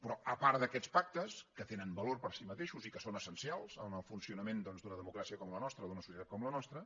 però a part d’aquests pactes que tenen valor per si mateixos i que són essencials en el funcionament doncs d’una democràcia com la nostra d’una societat com la nostra